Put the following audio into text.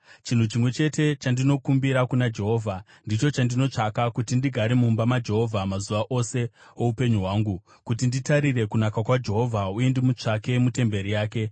Chinhu chimwe chete chandinokumbira kuna Jehovha, ndicho chandinotsvaka: kuti ndigare mumba maJehovha mazuva ose oupenyu hwangu, kuti nditarire kunaka kwaJehovha uye ndimutsvake mutemberi yake.